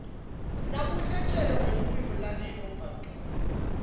nakuhlatjelwa ngelulwimi lakini uva ncono